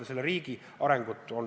Me tahame toetada teatud riikide arengut.